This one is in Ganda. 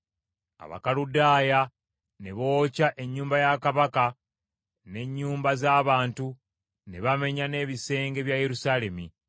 Abakaludaaya ne bookya ennyumba ya kabaka n’ennyumba z’abantu, ne bamenya n’ebisenge bya Yerusaalemi.